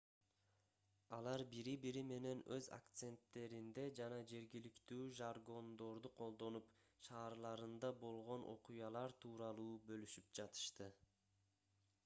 алар бири-бири менен өз акценттеринде жана жергиликтүү жаргондорду колдонуп шаарларында болгон окуялар тууралуу бөлүшүп жатышты